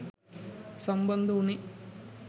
සම්බන්ධ උනේ